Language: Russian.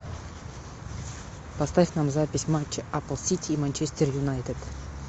поставь нам запись матча апл сити и манчестер юнайтед